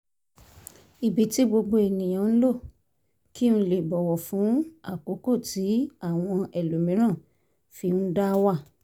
ibi tí gbogbo ènìyàn ń lò kí n lè bọ̀wọ̀ fún àkókò tí àwọn ẹlòmíràn fi ń dá wà